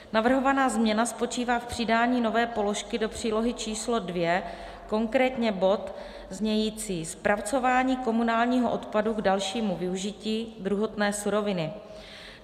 Navrhovaná změna spočívá v přidání nové položky do přílohy číslo II, konkrétně bod znějící: Zpracování komunálního odpadu k dalšímu využití druhotné suroviny.